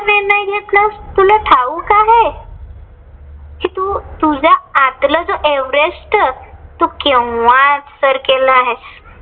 कि तू तुझ्या आतलं जे एव्हरेस्ट, तू केंव्हाच सर केला आहे.